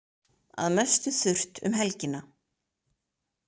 Að mestu þurrt um helgina